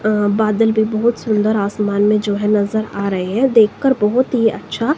बादल भी बहोत सुंदर आसमान में जो है नजर आ रहे हैं देख कर बहोत ही अच्छा--